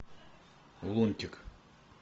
лунтик